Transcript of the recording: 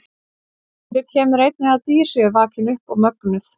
Fyrir kemur einnig að dýr séu vakin upp og mögnuð.